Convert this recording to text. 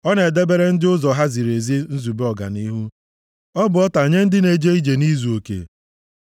Ọ na-edebere ndị ụzọ ha ziri ezi nzube ọganihu, ọ bụ ọta nye ndị na-eje ije nʼizuoke.